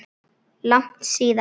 Langt síðan?